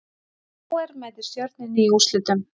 KR mætir Stjörnunni í úrslitum